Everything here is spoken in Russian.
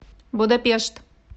будапешт